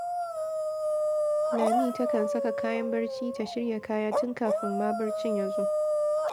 Lami takan saka kayan barci, ta shirya kaya tun kafin ma barcin ya zo